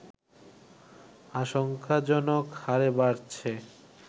আশঙ্কাজনক হারে বাড়ছে